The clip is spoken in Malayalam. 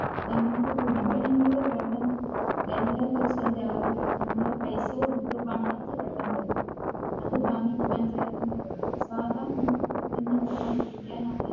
നമുക്ക് കുടിക്കണമെങ്കിൽ വെള്ളം എല്ലാ ദിവസവും രാവിലെ തന്നെ നമ്മ പൈസ കൊടുത്ത വണ്ടിക്ക് വെള്ളം വരും അത് വാങ്ങി പഞ്ചായത്തിന്റെ വെള്ളം സാധാ നമുക്ക് കിട്ടുന്ന വെള്ളം കുടിക്കാൻ